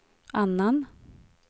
annan